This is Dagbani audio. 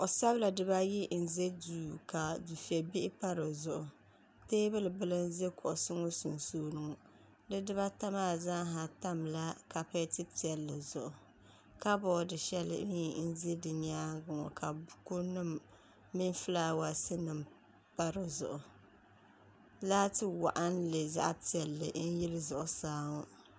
kuɣ' sabila diba-ayi n-za duu ka difɛ' bihi pa di zuɣu teebuli bila n-za kuɣisi ŋɔ sunsuuni ŋɔ di diba-ata maa zaasa tamla kap-ɛti piɛlli zuɣu kaboodi shɛli mi n-za di nyaaŋa ŋɔ ka bukunima mini fulaawaasi pa di zuɣu laati waɣinli zaɣ' piɛlli n-yili zuɣusaa ŋɔ